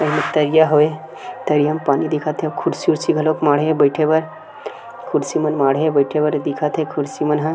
अउ एमे तरिया हवे तरिया म पानी दिखत हे अउ खुर्सी उर्सी घलोक माढे हे बइठे बर खुर्सी मन माढे बइठ बर ए दिखत हे खुर्सी मन ह --